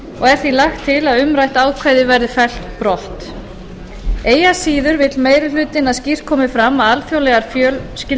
því lagt til að umrætt ákvæði verði fellt brott eigi að síður vill meiri hlutinn að skýrt komi fram að alþjóðlegar